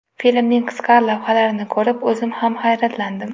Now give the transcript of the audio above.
Filmning qisqa lavhalarini ko‘rib, o‘zim ham hayratlandim.